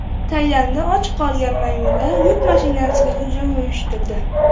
Tailandda och qolgan maymunlar yuk mashinasiga hujum uyushtirdi.